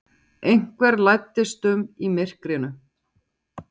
Einhver læddist um í myrkrinu.